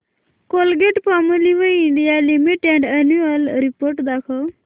Colgate Palmolive India limited annual report दाखव